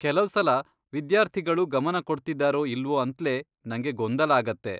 ಕೆಲವ್ಸಲ ವಿದ್ಯಾರ್ಥಿಗಳು ಗಮನ ಕೊಡ್ತಿದ್ದಾರೋ ಇಲ್ವೋ ಅಂತ್ಲೇ ನಂಗೆ ಗೊಂದಲ ಆಗತ್ತೆ.